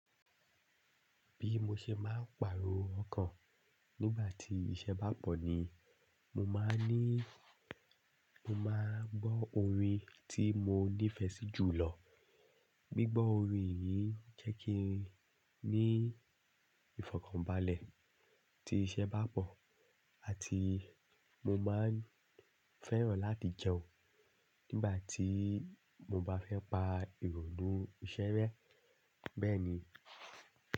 Bí mo ṣe máa ń pàrọ̀ ọkàn nígbà tí iṣẹ́ bá pọ̀ ni, mo máa ń ní, mo máa gbọ́ orin tí mo nífẹ̀ẹ́ sí jù lọ. Gbigbo orin yìí jẹ́ kí n ní ìfọ̀kànbalẹ̀ tí iṣẹ́ bá pọ̀ àti mo máa ń fẹ́ràn láti jẹun nígbà tí mo bá fẹ́ pa ìrònú iṣẹ́ rẹ́ bẹ́ẹ̀ ni.